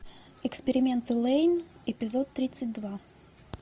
эксперименты лэйн эпизод тридцать два